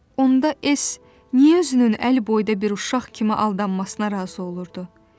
onda S. niyə özünün əl boyda bir uşaq kimi aldanmasına razı olurdu?